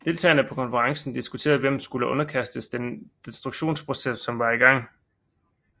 Deltagerne på konferencen diskuterede hvem som skulle underkastes den destruktionsprocess som var i gang